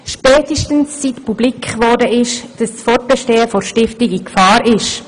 Dies spätestens seit publik wurde, dass das Fortbestehen der Stiftung in Gefahr ist.